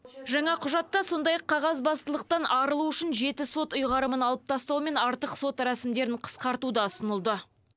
жаңа құжатта сондай ақ қағазбастылықтан арылу үшін жеті сот ұйғарымын алып тастау мен артық сот рәсімдерін қысқарту да ұсынылды